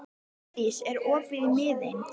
Hofdís, er opið í Miðeind?